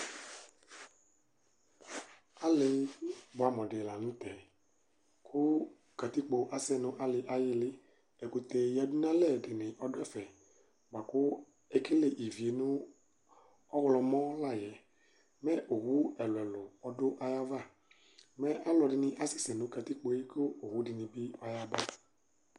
alɩ buɛamu dɩ la nʊtɛ, katikpo asɛ nʊ alɩ yɛ ayɩlɩ, ɛkutɛ yǝdʊnalɛ dɩnɩ ɔdʊ ɛfɛ, lakʊ ekele ivi nʊ ɔɣlɔmɔ la yɛ, mɛ owu ɛluɛlu ɔdʊ ayava, mɛ asɛsɛ nʊ katikpo yɛ, kʊ owu dɩnɩ bɩ yaba